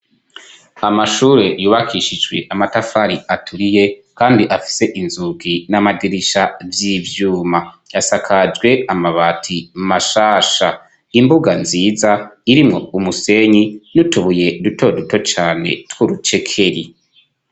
Amashure yubakishijwe amatafari aturiye kandi afise inzugi n'amadirisha vy'ivyuma, asakajwe amabati mashasha, imbuga nziza irimwo umusenyi n'utubuye duto duto cane tw'urucekeri.